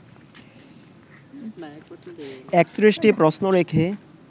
৩১টি প্রশ্ন রেখে